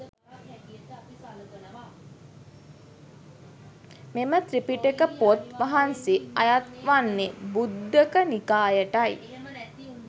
මෙම ත්‍රිපිටක පොත් වහන්සේ අයත් වන්නේ ඛුද්දක නිකායටයි.